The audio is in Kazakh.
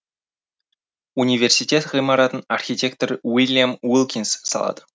университет ғимаратын архитектор уильям уилкинс салады